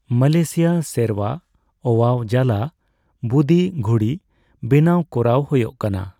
Malaysia ᱥᱮᱨᱣᱟ ᱳᱭᱟᱣ ᱡᱟᱞᱟ ᱵᱩᱫᱤ ᱜᱷᱩᱲᱤ ᱵᱮᱱᱟᱣ ᱠᱚᱨᱟᱣ ᱦᱳᱭᱳᱜ ᱠᱟᱱᱟ ᱾